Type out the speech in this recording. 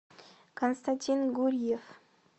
константин гурьев